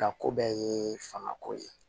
A ko bɛɛ ye fanga ko ye